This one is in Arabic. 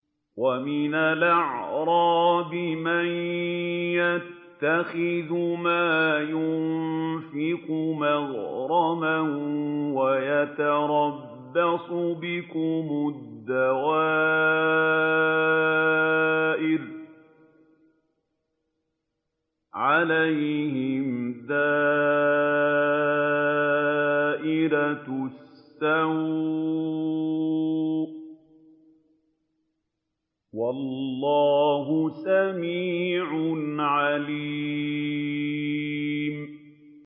وَمِنَ الْأَعْرَابِ مَن يَتَّخِذُ مَا يُنفِقُ مَغْرَمًا وَيَتَرَبَّصُ بِكُمُ الدَّوَائِرَ ۚ عَلَيْهِمْ دَائِرَةُ السَّوْءِ ۗ وَاللَّهُ سَمِيعٌ عَلِيمٌ